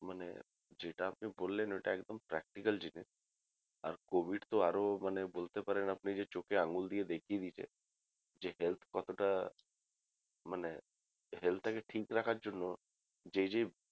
মানে যেটা আপনি বললেন ওটা একদম practical জিনিস আর covid তো আরো মানে বলতে পারেন আপনি যে চোখে আঙ্গুল দিয়ে দেখিয়ে দিয়েছে যে health কতটা মানে health টাকে ঠিক রাখার জন্য যে যে